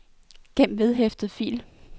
gem vedhæftet fil